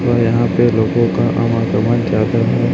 और यहां पे लोगों का आवागमन ज्यादा है।